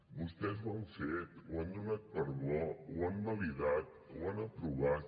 vostès ho han fet ho han donat per bo ho han validat ho han aprovat